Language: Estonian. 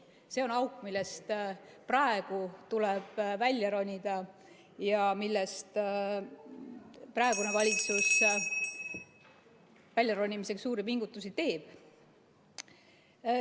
See on auk, millest praegu tuleb välja ronida ja millest väljaronimiseks praegune valitsus suuri pingutusi teeb.